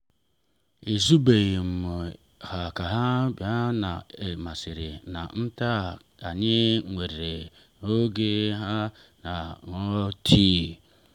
ezubeghị m ka ha bịa ma ọ masịrị m na anyị nwee oge iso ha ṅụọ tii.